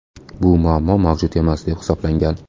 Bu muammo mavjud emas deb hisoblangan.